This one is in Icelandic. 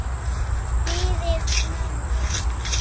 Fyrir mömmu.